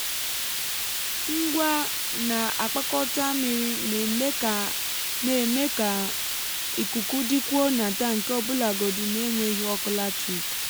ngwa na-akpakọta mmiri na-eme ka na-eme ka ikuku dịkwuo n’atankị ọbụlagodi n’enweghị ọkụ latrik.